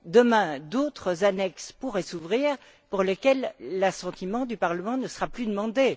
Demain d'autres annexes pourraient s'ouvrir pour lesquelles l'assentiment du Parlement ne sera plus demandé.